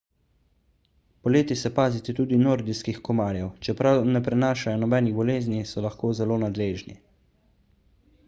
poleti se pazite tudi nordijskih komarjev čeprav ne prenašajo nobenih bolezni so lahko zelo nadležni